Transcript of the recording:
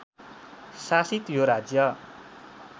शासित यो राज्य